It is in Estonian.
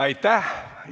Aitäh!